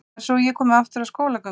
En svo ég komi aftur að skólagöngunni.